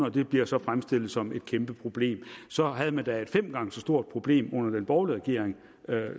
og det bliver så fremstillet som et kæmpe problem så havde man da et fem gange så stort problem under den borgerlige regering